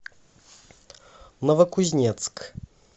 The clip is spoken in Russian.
новокузнецк